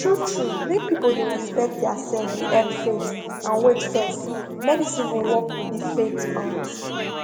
true true make people dey respect theirself dey help faith and wait fess medicine go work with the faith um